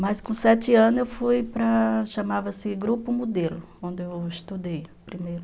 Mas com sete anos eu fui para o grupo modelo, onde eu estudei primeiro.